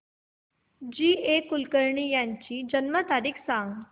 जी A Kulkarni यांची जन्म तारीख सांग